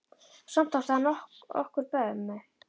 Og samt átti hann okkur mömmu.